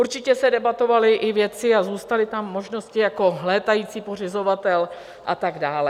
Určitě se debatovaly i věci a zůstaly tam možnosti jako létající pořizovatel a tak dále.